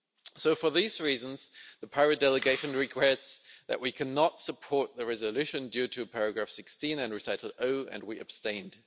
So, for these reasons, the Pirate delegation regrets that we cannot support the resolution, due to paragraph 16 and recital O and we abstained.